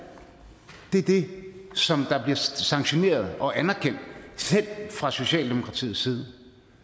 det er det som bliver sanktioneret og anerkendt selv fra socialdemokratiets side